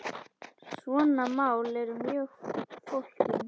Svona mál eru mjög flókin.